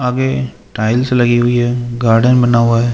आगे टाइल्स लगी हुई है गार्डन बना हुआ है।